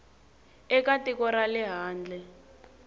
eka tiko ra le handle